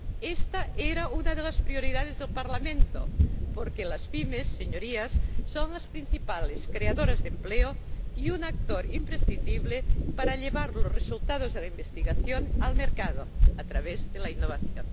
Esta era una de las prioridades del Parlamento porque las PYME, Señorías, son las principales creadoras de empleo y un actor imprescindible para llevar los resultados de la investigación al mercado a través de la innovación.